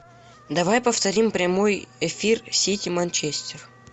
давай повторим прямой эфир сити манчестер